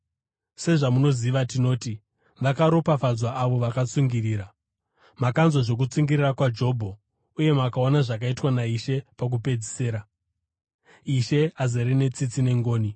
Sezvamunoziva, tinoti vakaropafadzwa avo vakatsungirira. Makanzwa zvokutsungirira kwaJobho uye makaona zvakaitwa naIshe pakupedzisira. Ishe azere netsitsi nengoni.